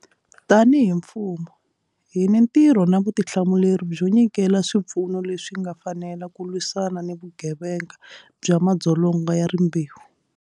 Tanihi mfumo, hi ni ntirho na vutihlamuleri byo nyikela swipfuno leswi nga fanela ku lwisana ni vugevenga bya madzolonga ya rimbewu.